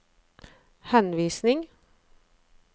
henvisning